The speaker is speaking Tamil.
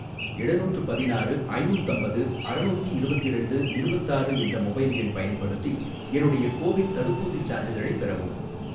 எழுநூற்று பதினாறு ஐநூத்தம்பது அறநூத்தி இருபத்திரண்டு இருபத்தாறு என்ற மொபைல் எண் பயன்படுத்தி என்னுடைய கோ வின் தடுப்பூசிச் சான்றிதழைப் பெறவும்